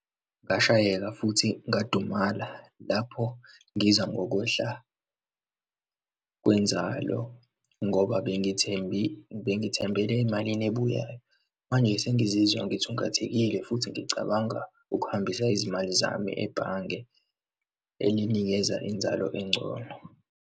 Ngashayeka futhi ngadumala lapho, ngiza ngokwehla kwenzalo, ngoba bengithembele emalini ebuyayo. Manje sengizizwa ngithungathekile futhi ngicabanga ukuhambisa izimali zami ebhange elinikeza inzalo engcono.